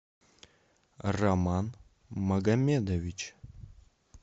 роман магомедович